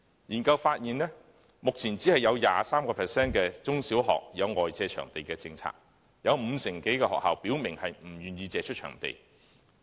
研究發現，目前只有 23% 的中、小學有外借場地的政策，有五成多的學校表明不願意借出場地。